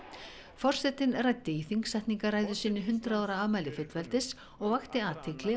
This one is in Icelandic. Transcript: forsetinn ræddi í þingsetningarræðu sinni hundrað ára afmæli fullveldis og vakti athygli